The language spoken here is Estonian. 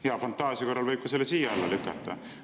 Hea fantaasia korral võib ka selle sinna alla lükata.